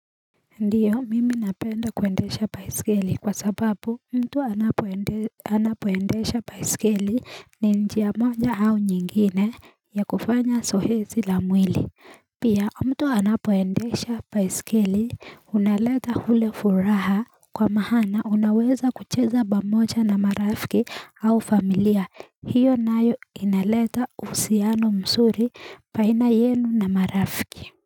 Ndiyo mimi napenda kuendesha baisikeli kwa sababu mtu anapoendesha anapoendesha baisikeli ni njia moja au nyingine ya kufanya zoezi la mwili Pia mtu anapoendesha baisikeli unaleta ule furaha kwa maana unaweza kucheza pamoja na marafiki au familia, hiyo nayo inaleta uhusiano mzuri baina yenu na marafiki.